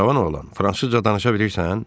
Cavan oğlan, fransızca danışa bilirsən?